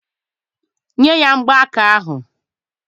Nye ya mgbaaka ahụ!